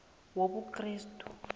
wobukrestu